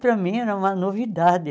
Para mim era uma novidade.